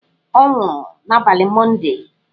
Ọ nwụrụ n'abalị Mọndee.